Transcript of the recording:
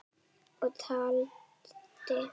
Og taldi